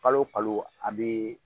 Kalo o kalo a bɛ